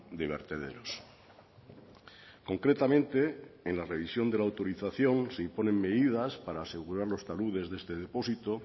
de vertederos concretamente en la revisión de la autorización se imponen medidas para asegurar los taludes de este depósito